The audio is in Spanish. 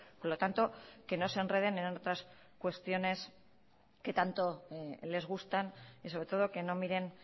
por lo tanto que no se enreden en otras cuestiones que tanto les gustan y sobre todo que no miren